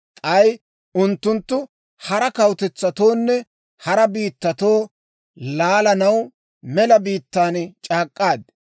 K'ay unttuntta hara kawutetsatoonne hara biittatoo laalanaw mela biittaan c'aak'k'aad.